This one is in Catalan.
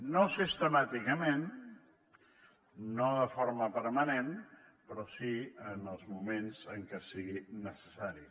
no sistemàticament no de forma permanent però sí en els moments en què sigui necessari